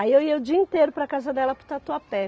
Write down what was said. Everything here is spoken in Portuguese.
Aí eu ia o dia inteiro para casa dela para o Tatuapé.